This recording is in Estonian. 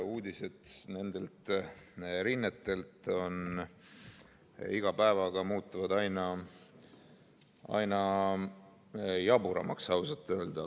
Uudised nendelt rinnetelt on iga päevaga ausalt öelda aina jaburamaks muutunud.